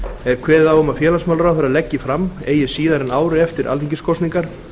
er kveðið á um að félagsmálaráðherra leggi fram eigi síðar en ári eftir alþingiskosningar